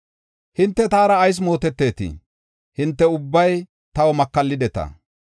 “Hinte taara ayis mootetetii? Hinte ubbay taw makallideta.